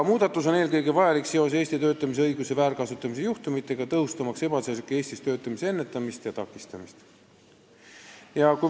Muudatus on eelkõige vajalik seoses Eestis töötamise õiguse väärkasutamise juhtumitega, tõhustamaks ebaseadusliku Eestis töötamise ennetamist ja takistamist.